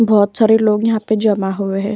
बोहोत सारे लोग यहाँ पे जमा हुए हैं।